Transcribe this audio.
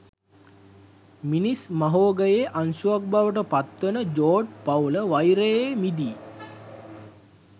මිනිස් මහෝඝයේ අංශුවක් බවට පත්වන 'ජෝඩ්' පවුල වෛරයේ මිදි